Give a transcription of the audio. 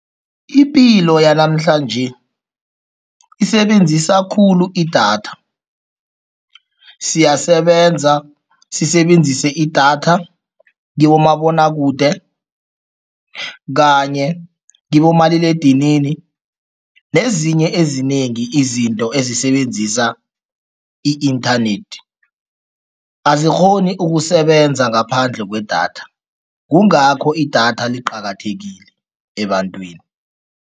Ipilo yanamhlanje isebenzisa khulu idatha. Siyasebenza, sisebenzise idatha kibomabonwakude kanye kibomaliledinini nezinye ezinengi izinto ezisebenzisa i-internet, azikghoni ukusebenza ngaphandle kwedatha, kungakho idatha liqakathekile ebantwini.